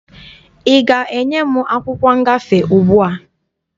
Ị ga-enye m akwụkwọ ngafe ugbua?